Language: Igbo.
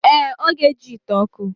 Ee, o ga-eji ite oku.